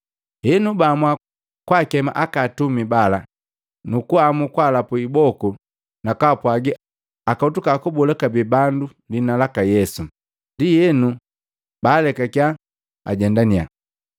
Henu baamua kwakema aka atumi bala, nukuamu kwalapu iboku na kaapwagi akotuka kubola kabee bandu liina laka Yesu, ndienu baalekakiya ajendaninya.